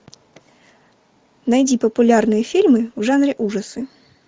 найди популярные фильмы в жанре ужасы